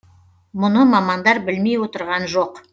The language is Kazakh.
мұны мамандар білмей отырған жоқ